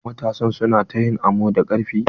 Matasan su na ta yin amo da karfi.